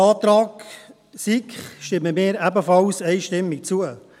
Dem Antrag SiK stimmen wir ebenfalls einstimmig zu.